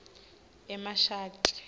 emashadi